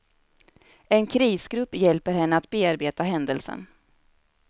En krisgrupp hjälper henne att bearbeta händelsen.